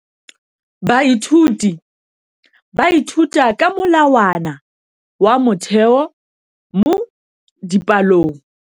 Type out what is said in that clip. Baithuti ba ithuta ka molawana wa motheo mo dipalong.